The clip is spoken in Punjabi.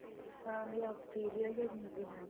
ah ਜਾਂ Australia ਜਾਂ new Zealand